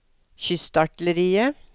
kystartilleriet